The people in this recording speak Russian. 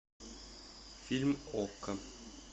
фильм окко